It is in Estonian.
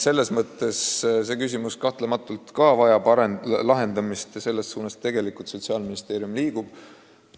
Aga ka see küsimus kahtlemata vajab lahendamist ja selles suunas Sotsiaalministeerium liigubki.